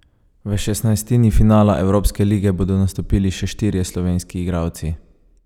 V šestnajstini finala evropske lige bodo nastopili še štirje slovenski igralci.